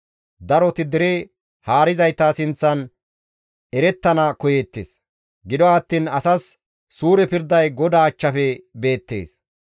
Daroti dere haarizayta sinththan erettana koyeettes; gido attiin asas suure pirday GODAA achchafe beettees.